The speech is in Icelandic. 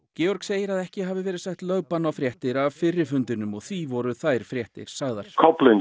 Georg segir að ekki hafi verið sett lögbann á fréttir af fyrri fundinum og því voru þær fréttir sagðar